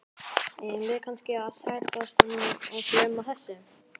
Eigum við kannski að sættast og gleyma þessu?